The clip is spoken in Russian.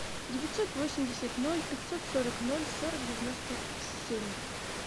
девятьсот восемьдесят ноль пятьсот сорок ноль сорок девяносто семь